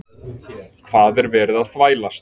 HVAÐ ER VERIÐ AÐ ÞVÆLAST?